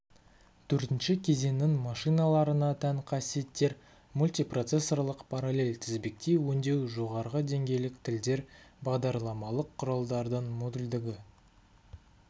төртінші кезеңнің машиналарына тән қасиеттер мультипроцессорлық параллель-тізбектей өңдеу жоғарғы деңгейлік тілдер бағдарламалық құралдардың модульділігі